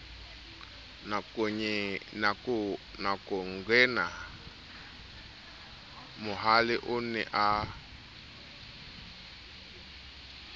nakongena mohale o ne a